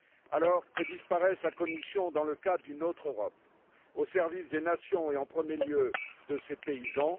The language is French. Alors que disparaisse la Commission dans le cadre d'une autre Europe au service des nations et en premier lieu de ses paysans.